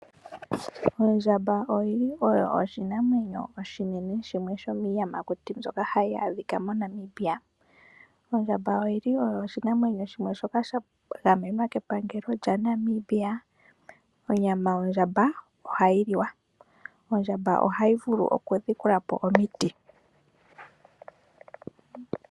Ondjamba oyo oshinamweno oshinene oshiyamakuti shoka hashi adhika moNamibia. Oya gamenwa kepangelo lyaNamibia. Onyama yondjamba ohayi li wa. Ondjamba ohayi vulu okudhikula po omiti.